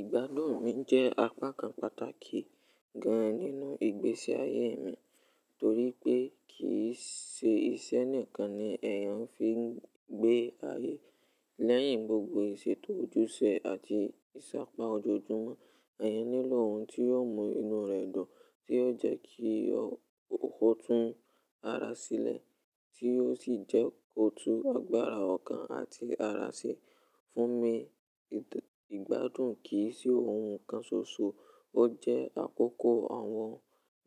Ìgbádùn mi jẹ́ apá kan pàtàkì gan nínú ìgbésí ayé mi torí pé kìí ṣe iṣẹ́ nìkan ni èèyàn fi ń gbé ayé. Lẹ́yìn gbogbo ìṣètò ojúṣe àti ìsápá ojoojúmọ́, èèyàn nílò ohun tí yóò mú inú rẹ̀ dùn, tí yóò jẹ́ kí ó kún tún ara sílẹ̀, tí yóò sì jẹ́ kòtù agbára ọkàn àti ara sí. Fún mi, ìgbádùn kì í ṣe ohun kan ṣoṣo, ó jẹ́ àkókò àwọn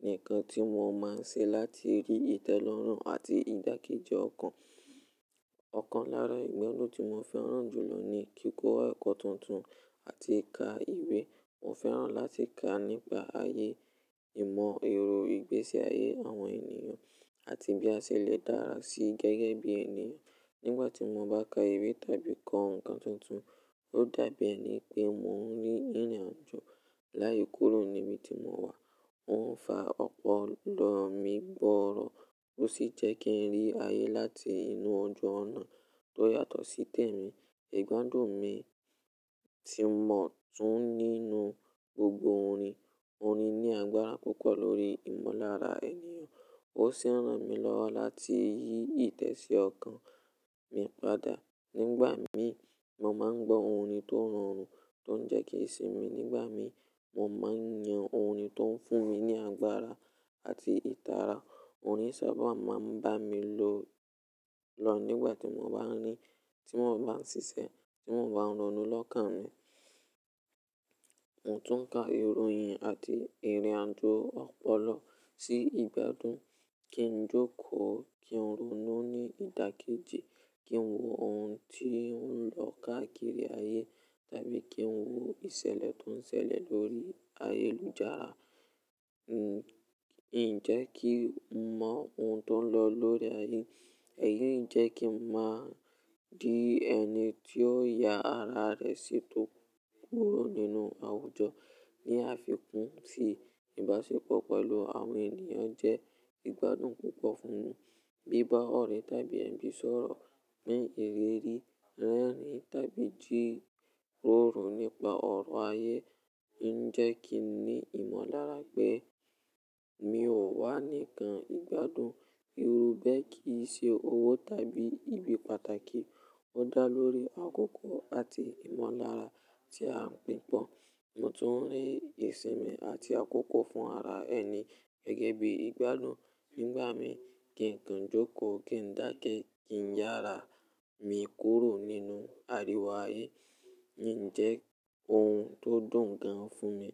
nǹkan tí mo máa ń ṣe láti rí ìtẹ́lọ́rùn àti ìdàkejì ọkàn. Ọ̀kan lára ìgbádùn tí mo fẹ́ràn jùlọ ni kíkọ ẹkọ tuntun àti ka ìwé. Mo fẹ́ràn láti ka nípa ayé, ìmọ̀, èro, ìgbésí ayé àwọn ènìyàn àti bí a ṣe lè dára sí gẹ́gẹ́ bí ènìyàn. Nígbà tí mo bá ka ìwé tàbí kọ́ nǹkan tuntun, ó dàbí ẹni pé mo ń rí ìrìnàjò láì kúrò níbi tí mo wà. Ó ń fa ọpọlọ mi gbọ́rọ̀ ó sì jẹ́ kí ń rí ayé láti inú ọjọ́ ọ̀nà tó yàtọ̀ sí tèmi. Ìgbádùn mi ti mọ̀ọ́ tún nínú gbogbo orin. Orin ní agbára púpọ̀ lórí ìmọ̀lára ènìyàn, ó sì ran mi lọ́wọ́ láti yí ìtẹ̀sí ọkàn mi padà. Nígbà mi, mo máa ń gbọ́ orin tó rọrùn tó ń jẹ́ kí ìsinmi. Nígbà mi, mo máa ń yan orin tó ń fún mi ní agbára àti ìtara. Orin sábà máa ń bá mi lò lọ nígbà tí mo bá ń rí, tí mo bá ń ṣiṣẹ́, tí mo bá ń ronú lọ́kàn mi. Mo tún ka ìròyìn àti ìrìnàjò ọpọlọ sí ìgbádùn. Kí ń jókòó, kí ń ronú ní ìdàkejì, kí ń wo ohun tí ó ń lọ káàkiri ayé tàbí kí ń wo ìṣẹ̀lẹ̀ tó ń ṣẹlẹ̀ lórí ayélujára. Ǹ jẹ́ kí n mọ ohun tó ń lọ lórí ayé, ẹ̀yin jẹ́ kí n má di ẹni tí ó ya ara rẹ̀ sí tó kúrò nínú àwùjọ. Ni àfikún sì, ìbáṣepọ̀ pẹ̀lú àwọn ènìyàn jẹ́ ìgbádùn púpọ̀ fún mi. Bíbá ọ̀rẹ́ tàbí ẹ̀gbin sọ̀rọ̀ ní ìrírí rẹ́rìn tàbí jírórò nípa ọ̀rọ̀ ayé ń jẹ́ kí n ní ìmọ̀lára pé mi ò wá nìkan. Ìgbádùn irú bẹ́ẹ̀ kì í ṣe owó tàbí ibi pàtàkì, ó dá lórí àkókò àti ìmọ̀lára tí a ń gbé pọ̀. Mo tún rí ìsinmi àti àkókò fún ara ẹni gẹ́gẹ́ bí ìgbádùn. Nígbà mi, kí ń kàn jókòó, kí ń dákẹ́, kí ń yára, mi kúrò nínú àríwo ayé ń jẹ́ ohun tó dùn gan fún mi.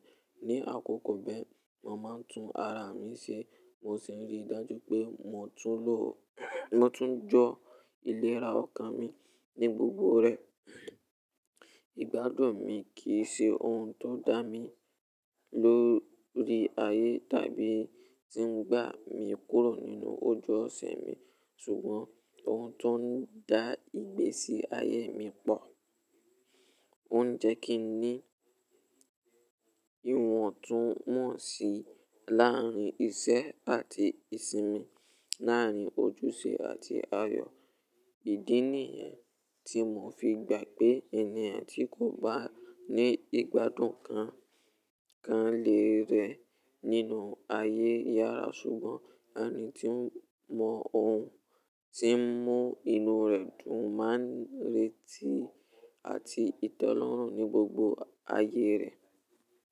Ni àkókò bẹ́ẹ̀, mo máa ń tún ara mi ṣe mo sì rí i dájú pé mo tún lọ-- mo tún jọ ìlera ọkàn mi ní gbogbo rẹ̀. Ìgbádùn mi kì í ṣe ohun tó ń dá mi lórí ayé tàbí tí ń gbà mí kúrò nínú ojú ọ̀sẹ̀ mi. Sùgbọ́n ohun tó ń dá ìgbésí ayé mi pọ̀, ó ń jẹ́ kí n ní ìwọ̀ntúnwọ̀nsì láàárín iṣẹ́ àti ìsinmi, láàárín ojúṣe àti ayọ̀. Ìdí nìyẹn tí mo fi gbà pé ènìyàn tí kò bá ní ìgbádùn kan kan léèrè nínú ayé yára. Ṣùgbọ́n ẹni tí mọ ohun tí ń mú inú rẹ̀ dùn máa ń retí àti tẹ́lọ́rùn ní gbogbo ayé rẹ̀.